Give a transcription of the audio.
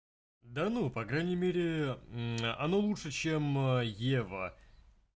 да ну по крайней мере оно лучше чем ева